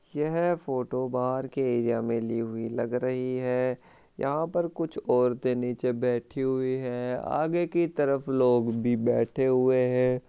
यह फोटो बाहर के एरिया में ली हुई लग रही है यहाँ पर कुछ औरते नीचे बैठी हुई है आगे की तरफ लोग भी बैठे हुए है।